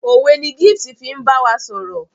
òwe ní Gift fín bawa sọrọ.